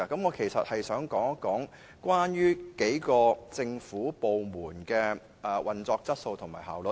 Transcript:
我想談談數個政府部門的工作質素及效率。